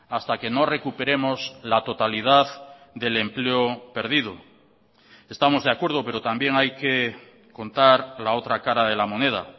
hasta que no recuperemos la totalidad del empleo perdido estamos de acuerdo pero también hay que contar la otra cara de la moneda